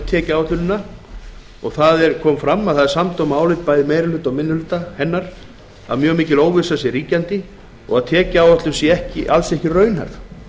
skattanefnd varðandi tekjuáætlunina þar kom fram að það er samdóma álit bæði meiri hluta og minni hluta hennar að mjög mikil óvissa sé ríkjandi og að tekjuáætlun sé alls ekki raunhæf